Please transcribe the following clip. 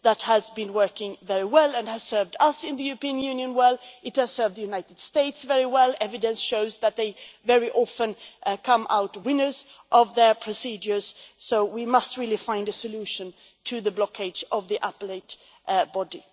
That has been working very well and it has served us in the European Union well, but it has also served the United States very well evidence shows that they very often come out winners of their procedures. We must really find a solution to the blockage of the Appellate Body.